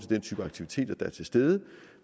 den type aktiviteter der er til stede